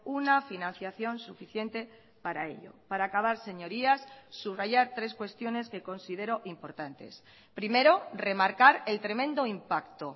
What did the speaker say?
una financiación suficiente para ello para acabar señorías subrayar tres cuestiones que considero importantes primero remarcar el tremendo impacto